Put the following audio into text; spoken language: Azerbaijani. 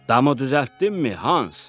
Damı düzəltdinmi Hans?